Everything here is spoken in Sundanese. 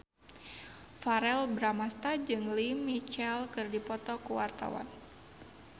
Verrell Bramastra jeung Lea Michele keur dipoto ku wartawan